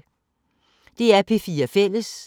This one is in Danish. DR P4 Fælles